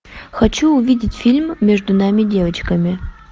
хочу увидеть фильм между нами девочками